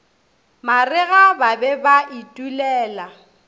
marega ba be ba itulela